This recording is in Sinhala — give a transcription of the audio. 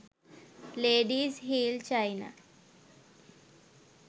ladies heel china